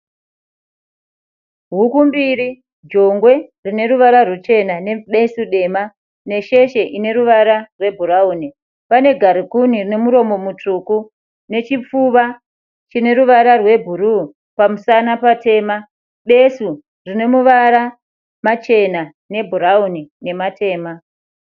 Huku mbiri jongwe rine ruvara rwuchena nebesu dema, nesheche ine ruvara rwebhurauni pane ngarikuni rine muromo mutsvuku chipfuva chine ruvara rwebhurauni nematema.